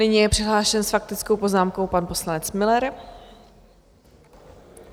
Nyní je přihlášen s faktickou poznámkou pan poslanec Müller.